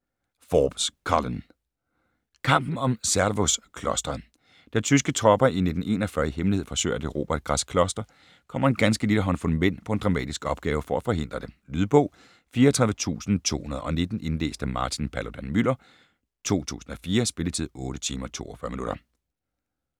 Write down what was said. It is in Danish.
Forbes, Colin: Kampen om Zervos-klosteret Da tyske tropper i 1941 i hemmelighed forsøger at erobre et græsk kloster, kommer en ganske lille håndfuld mænd på en dramatisk opgave for at forhindre det. Lydbog 34219 Indlæst af Martin Paludan-Müller, 2004. Spilletid: 8 timer, 42 minutter.